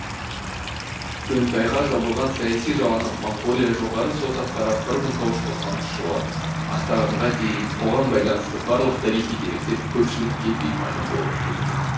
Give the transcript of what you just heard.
дөңтайға жабылған саяси жаланы моңғолия жоғары соты қарап бір мың тоғыз жүз тоқсаныншы жылы ақтағанға дейін оған байланысты барлық тарихи деректер көпшілікке беймәлім болып келді